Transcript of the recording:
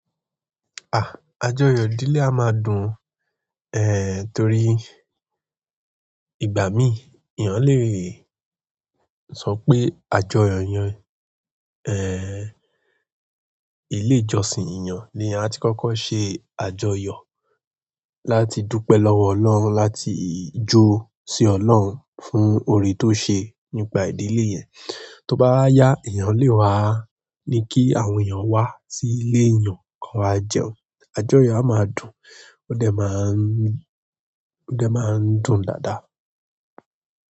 À, àjọyọ̀ ìdílé a máa dùn, eh torí ìgbà mí ìyán lè sọ pé àjọyọ̀ yẹn, eh ilé ìjọsìn ìyàn le ha tí kọ́kọ́ ṣe àjọyọ̀ láti dúpẹ́ lọ́wọ́ Ọlọ́run láti jó sí Ọlọ́run fún orí tó ṣe nípa ìdílé yẹn. Tí ó bá yá, èèyàn lè wá ní kí àwọn èèyàn wá sí ilé èèyàn kọ́ wa jẹun. Àjọyọ̀ á máa dùn, ó dẹ̀ máa ń, ó dẹ̀ máa ń dùn dáadáa.